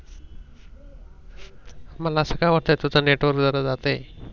मला अस काय वाटायेच कि तुझ नेटवर्क जरा जात आहे.